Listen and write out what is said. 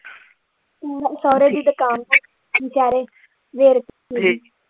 ਮੇਰੇ ਸਹੁਰੇ ਦੀ ਦੁਕਾਨ ਵਿਚਾਰੇ